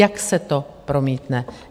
Jak se to promítne?